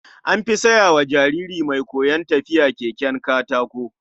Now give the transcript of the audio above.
An fi saya wa jariri mai koyon tafiya keken katako.